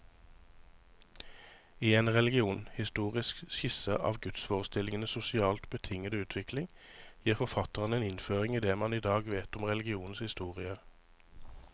I en religionshistorisk skisse av gudsforestillingenes sosialt betingede utvikling, gir forfatteren en innføring i det man i dag vet om religionens historie.